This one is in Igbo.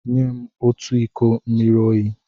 Nye m otu iko mmiri oyi!